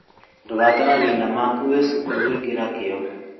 Ndugate mahinda maku wĩ thukuru ĩkĩra kĩyo